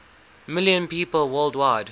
million people worldwide